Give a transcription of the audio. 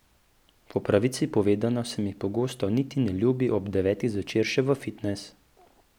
Po pravici povedano se mi pogosto niti ne ljubi ob devetih zvečer še v fitnes.